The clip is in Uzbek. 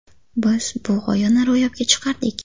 Biz bu g‘oyani ro‘yobga chiqardik.